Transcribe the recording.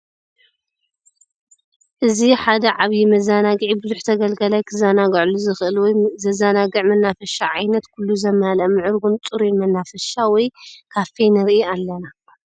እዚ ሓደ ዓብይ መዘናግዒ ቡዙሕ ተገልጋላይ ክዘናገዐሉ ዝክእል ወይ ዘዘናግዕ መናፈሻ ዓይነት ኩሉ ዘማለአ ምዕሩጉን ፅሩይን መናፋሻ ወይ ካፌ ንርኢ ኣለና።